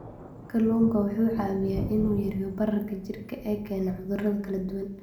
Kalluunku waxa uu caawiyaa in uu yareeyo bararka jidhka ee keena cudurro kala duwan.